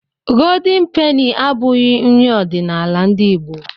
Goldeni peni abụghị nri ọdiṇala ndị Igbo